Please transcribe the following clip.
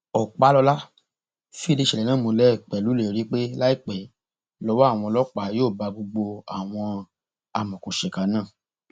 ọpàlọla fìdí ìṣẹlẹ náà múlẹ pẹlú ìlérí pé láìpẹ lọwọ àwọn ọlọpàá yóò bá gbogbo àwọn amọòkùnsíkà náà